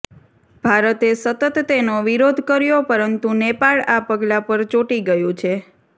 ભારતે સતત તેનો વિરોધ કર્યો પરંતુ નેપાળ આ પગલા પર ચોંટી ગયું છે